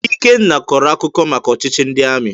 Ikenna kọrọ akụkọ maka ọchịchị ndị amị.